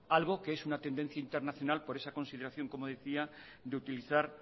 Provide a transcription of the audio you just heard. algo que es una tendencia internacional por esa consideración como decía de utilizar